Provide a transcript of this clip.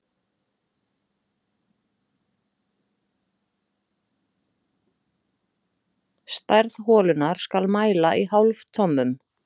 Stærð holunnar skal mæla í hálftommum.